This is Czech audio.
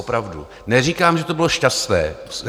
Opravdu neříkám, že to bylo šťastné.